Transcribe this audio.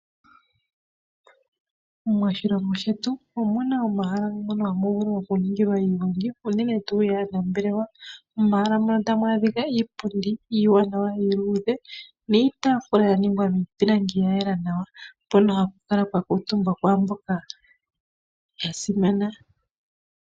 Moshilongo shetu omuna omahala ngono hamu vulu oku ningilwa iigongi unene tuu yaanambelewa. Momahala muno ohamu adhika iipundi iiwanawa iiludhe niitaafula yaningwa miipilangi yayela nawa, mpono hapa kala pwakuutumbwa kwaamboka yasimana.